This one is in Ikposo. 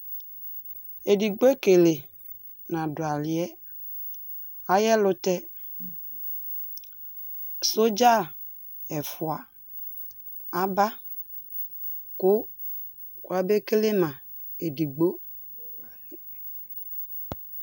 ɛdigbɔɛ ɛkɛlɛ nadʋ aliɛ, ayi ɛlʋtɛ soldier ɛƒʋa aba kʋ ɔya bɛ kɛlɛ ma ɛdigbɔ